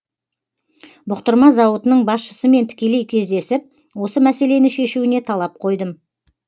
бұқтырма зауытының басшысымен тікелей кездесіп осы мәселені шешуіне талап қойдым